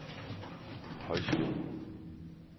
Højslev